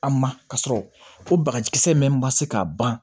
An ma ka sɔrɔ o bagaji kisɛ min ma se ka ban